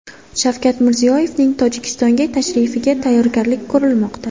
Shavkat Mirziyoyevning Tojikistonga tashrifiga tayyorgarlik ko‘rilmoqda.